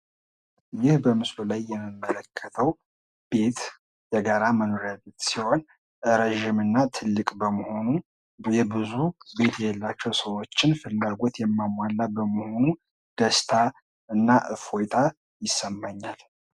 ይህ በምስሉ ላይ የምመለከተው ቤት የጋራ መኖሪያ ቤት ሲሆን ረዥምና ትልቅ በመሆኑ የብዙ ቤት የለላቸው ሰዎች ፍላጎት የሚያማላ በመሆኑ ደስታ እና እፎይታ ይሰማኛል።